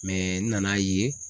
Mɛ n nan'a ye